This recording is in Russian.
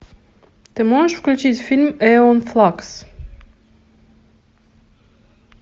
ты можешь включить фильм эон флакс